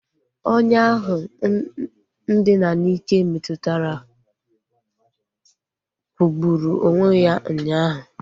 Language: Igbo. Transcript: Onye ahụ ndina n'ike metụtara kwụgburu onwe ya ụnyaahụ